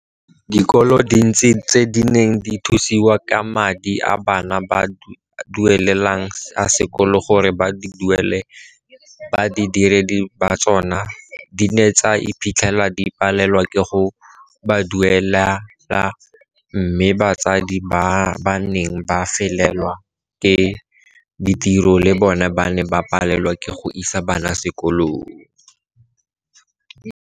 Dikolo tse dintsi tse di neng di thusiwa ke madi a bana ba a duele lang a sekolo gore di duele badiredi ba tsona di ne tsa iphitlhela di palelwa ke go ba duelela mme batsadi ba ba neng ba felelwa ke ditiro le bona ba ne ba palelwa ke go isa bana sekolong.